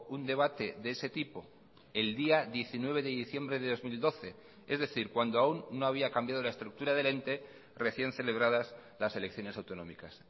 un debate de ese tipo el día diecinueve de diciembre de dos mil doce es decir cuando aún no había cambiado la estructura del ente recién celebradas las elecciones autonómicas